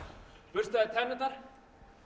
burstaði tennurnar